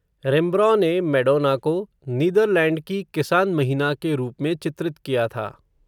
Rembrandt ने Madonna को, Netherlands की किसान महिना के रूप में चित्रित किया था